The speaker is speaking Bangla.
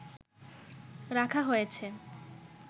রাখা হয়েছে